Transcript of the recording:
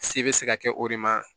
Se bɛ se ka kɛ o de ma